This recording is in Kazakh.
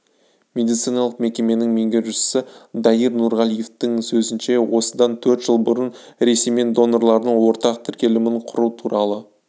медициналық мекеменің меңгерушісі даир нұрғалиевтің сөзінше осыдан төрт жыл бұрын ресеймен донорлардың ортақ тіркелімін құру туралы